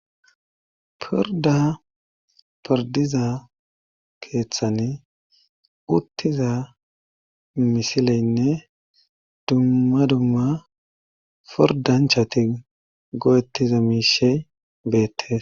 pirda pirdiza keeththan uttiza misileynne dumma dumma pordanchati go7ettiza miishe beettes